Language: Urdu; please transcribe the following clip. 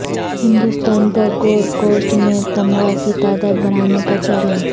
ہندستان پر گولڈ کوسٹ میں تمغہ کی تعداد بڑھانے کا چیلنج